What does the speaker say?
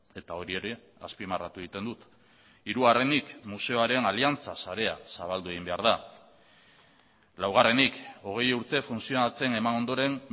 eta hori ere azpimarratu egiten dut hirugarrenik museoaren aliantza sarea zabaldu egin behar da laugarrenik hogei urte funtzionatzen eman ondoren